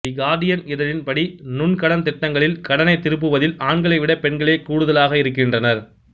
தி Guardian இதழின் படி நுண்கடன் திட்டங்களில் கடனைத் திருப்புவதில் ஆண்களை விடப் பெண்களே கூடுதாக இருக்கின்றனர்